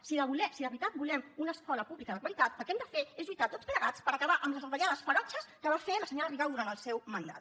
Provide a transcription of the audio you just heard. si de veritat volem una escola pública de qualitat el que hem de fer és lluitar tots plegats per acabar amb les retallades ferotges que va fer la senyora rigau durant el seu mandat